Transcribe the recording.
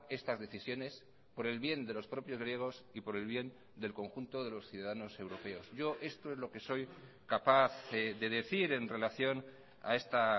estas decisiones por el bien de los propios griegos y por el bien del conjunto de los ciudadanos europeos yo esto es lo que soy capaz de decir en relación a esta